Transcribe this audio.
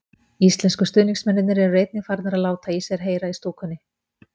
Íslensku stuðningsmennirnir eru einnig farnir að láta í sér heyra í stúkunni.